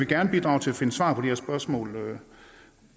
gerne bidrage til at finde svar på de her spørgsmål